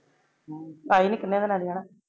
ਪਾਈ ਨੇ ਕਿੰਨੇ ਦਾ ਲੇਕੇ ਜਾਨਾ?